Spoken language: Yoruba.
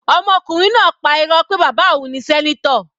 Ọmọkùnrin náà pá Irọ́ pé bàbá òun ni senator.